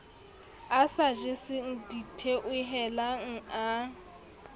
a sa jeseng ditheohelang a